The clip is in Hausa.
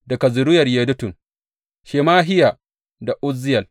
Daga zuriyar Yedutun, Shemahiya da Uzziyel.